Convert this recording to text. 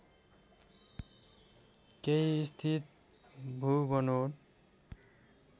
केही स्थित भूबनोट